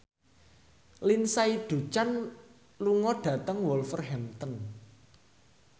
Lindsay Ducan lunga dhateng Wolverhampton